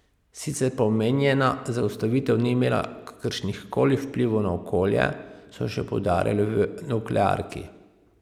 Sicer pa omenjena zaustavitev ni imela kakršnihkoli vplivov na okolje, so še poudarili v nuklearki.